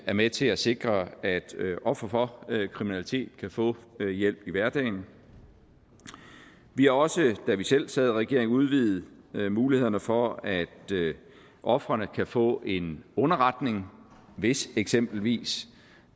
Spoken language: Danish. er med til at sikre at ofre for kriminalitet kan få hjælp i hverdagen vi har også da vi selv sad i regering udvidet mulighederne for at ofrene kan få en underretning hvis eksempelvis